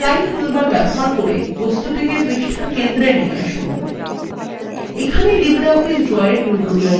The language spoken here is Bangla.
তারপর এলাইন toolbar ব্যবহার করে বস্তুটিকে পৃষ্ঠার centre নিয়ে আসুন